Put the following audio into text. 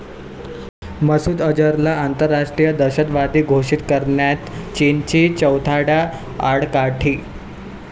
मसूद अजहरला आंतरराष्ट्रीय दहशतवादी घोषित करण्यात चीनची चौथ्यांदा आडकाठी